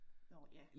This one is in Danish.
Nåh ja